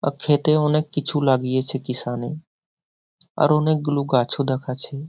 আক্ষেতে অনেক কিছু লাগিয়েছে কিষানে । আর অনেকগুলো গাছও দেখাচ্ছে ।